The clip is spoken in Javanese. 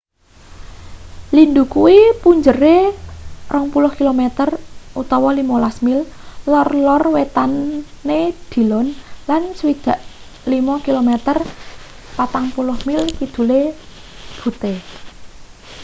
lindhu kuwi punjere 20 km 15 mil lor-lor wetane dillon lan 65 km 40 mil kidule butte